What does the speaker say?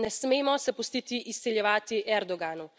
Ne smemo se pustiti izsiljevati Erdoganu.